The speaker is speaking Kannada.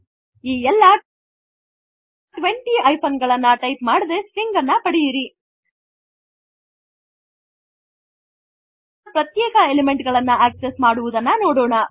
160 ಎಲ್ಲ 20 ಹೈಫೆನ್ ಗಳನ್ನು ಟೈಪ್ ಮಾಡದೆ stringಅನ್ನು ಪಡೆಯಿರಿ ಸ್ಟ್ರಿಂಗ್ಸ್ ನ ಪ್ರತ್ಯೇಕ ಎಲಿಮೆಂಟ್ ಗಳನ್ನು ಅಕ್ಸೆಸ್ಸ್ ಮಾಡುವುದನ್ನು ನೋಡೋಣ